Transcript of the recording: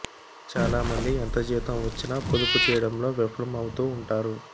చాలామంది ఎంత జీతం వచ్చినా పొదుపు చేయడంలో విఫలం అవుతూ ఉంటారు